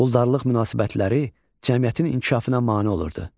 Quldarlıq münasibətləri cəmiyyətin inkişafına mane olurdu.